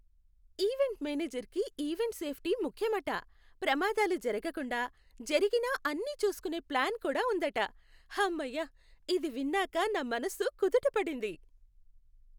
Event మేనేజర్కి event safety ముఖ్యమట, ప్రమాదాలు జరగకుండా, జరిగినా అన్నీ చూసుకునే ప్లాన్ కూడా ఉందట. హమ్మయ్య! ఇది విన్నాక నా మనసు కుదుట పడింది.